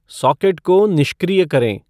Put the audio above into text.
socket को निष्क्रिय करें